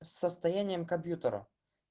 с состоянием компьютера